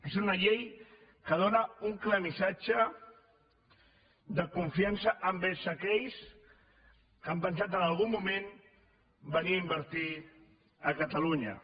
és una llei que dóna un clar missatge de confiança envers aquells que han pensat en algun moment venir a invertir a catalunya